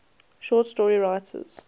short story writers